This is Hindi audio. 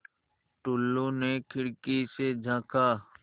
टुल्लु ने खिड़की से झाँका